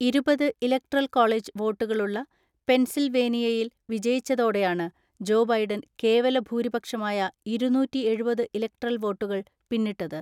ഇരുപത്‌ electoral college വോട്ടുകളുള്ള പെൻസിൽവേനിയയിൽ വിജയിച്ചതോടെയാണ് ജോ ബൈഡൻ കേവല ഭൂരിപക്ഷമായ ഇരുന്നൂറ്റിഎഴുപത് ഇലക്ട്രൽ വോട്ടുകൾ പിന്നിട്ടത്.